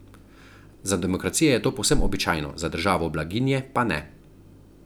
Za demokracije je to povsem običajno, za državo blaginje pa ne.